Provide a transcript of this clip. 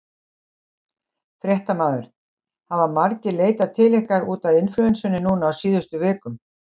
Fréttamaður: Hafa margir leitað til ykkar út af inflúensunni núna á síðustu vikum?